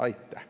Aitäh!